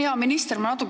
Hea minister!